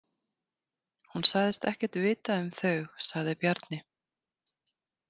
Hún sagðist ekkert vita um þau, sagði Bjarni.